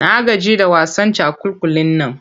Na gaji da wasan cakulkulin nan.